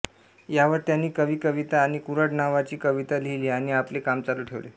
यावर त्यांनी कवी कविता आणि कुऱ्हाड नावाची कविता लिहिली आणि आपले काम चालू ठेवले